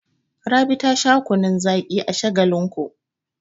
Rabi ta sha kunnun zaƙi a Shagalinku.